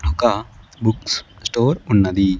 ఒక books store ఉన్నది.